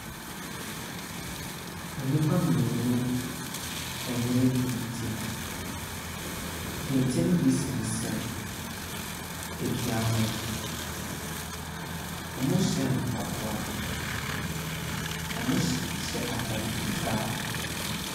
Nnipa mmienu ɛnwene kente. Kente ne bi sensɛn adua ho. Ɔmo hyɛ ataade fitaa.